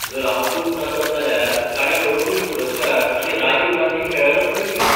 जर हांव चूक नासत जाल्यार ताणें अर्जून पुरस्कार आनी राजीव गांधी खेळ रत्नूय जिखला.